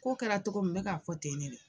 Ko kɛra togo min n bɛ k'a fɔ ten de dɛ